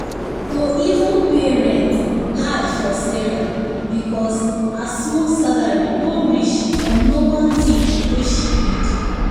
to even pay rent hard for sarah because her small salary no reach for normal thing wey she need